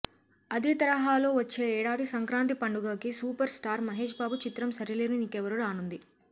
అదే తరహాలో వచ్చే ఏడాది సంక్రాంతి పండుగకి సూపర్ స్టార్ మహేష్ బాబు చిత్రం సరిలేరు నీకెవ్వరు రానుంది